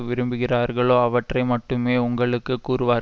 விரும்புகிறார்களோ அவற்றை மட்டுமே உங்களுக்கு கூறுவார்